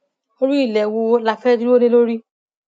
orí ilé wo la fẹẹ dúró lé lórí